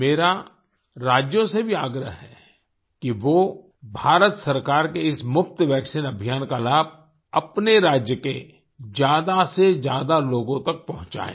मेरा राज्यों से भी आग्रह है कि वो भारत सरकार के इस मुफ़्त वैक्सीन अभियान का लाभ अपने राज्य के ज्यादासेज्यादा लोगों तक पहुँचाएँ